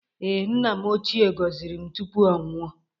Ee, nna m ochịe gọziri m tupu ọ nwụọ